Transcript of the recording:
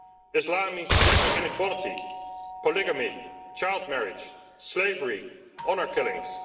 Islam means gender inequality, polygamy, child marriage, slavery and honour killings.